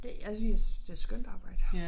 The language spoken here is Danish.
Det jeg synes jeg synes det et skønt arbejde